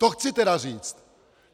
To chci teda říct.